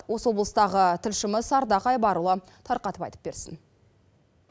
осы облыстағы тілшіміз ардақ айбарұлы тарқатып айтып берсін